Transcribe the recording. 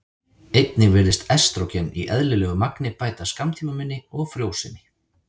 Einnig virðist estrógen í eðlilegu magni bæta skammtímaminni og frjósemi.